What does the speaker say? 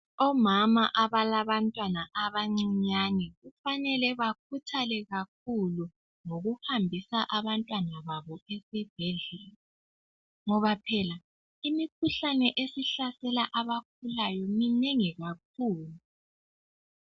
Omama abalabantwana abancinyane kufanele bakhuthale kakhulu ngokuhambisa abantwana babo esibhedlela, ngoba phela imikhuhlane esihlasela abakhulayo, minengi kakhulu.